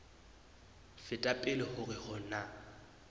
feta pele hore ho na